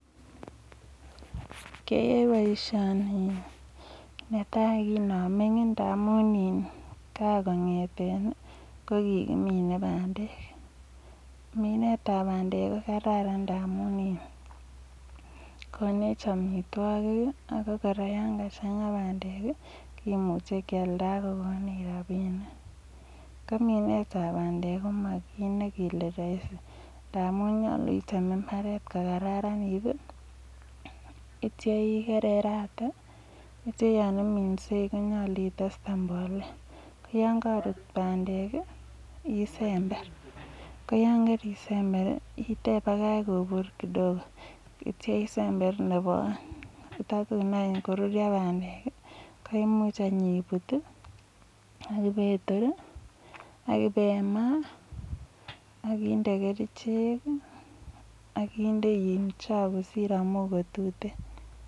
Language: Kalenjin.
keaei boishioni netai kiname ndamun ka kongetei kokiminei bandet . minet ab bandek koterete amun konech amitwogik ak kominet ab bandek ko makit ne ma rahisi amu yachei mbaret ityo ikererate atyo imit ak keyaikolse isember ne bo aeng kotkoruryo barek ak ibut ak ibimaa ak indee kerichek ak indei chang kosir amu matuten